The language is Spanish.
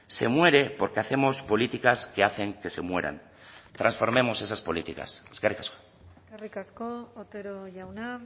se muere porque hacemos políticas que hacen que se mueran transformemos esas políticas eskerrik asko eskerrik asko otero jauna